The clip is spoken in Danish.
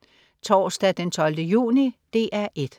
Torsdag den 12. juni - DR 1: